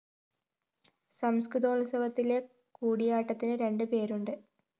സംസ്‌കൃതോത്സവത്തിലെ കൂടിയാട്ടത്തിന് രണ്ട് പേരുണ്ട്